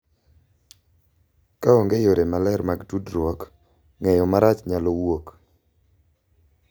Ka onge yore maler mag tudruok, ng’eyo marach nyalo wuok,